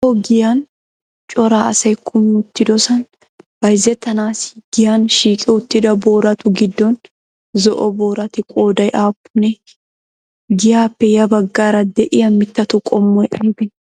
Aaho giyan cora asayi kumi uttidosan bayzettanaassi giyan shiiqi uttida booratu giddon zo'o booratu qooday aappunee? Giyaappe yabaggaara de'iyaa mittatu qommoyi aybee?